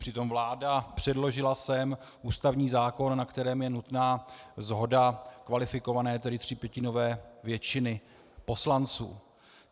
Přitom vláda předložila sem ústavní zákon, na kterém je nutná shoda kvalifikované, tedy třípětinové většiny poslanců.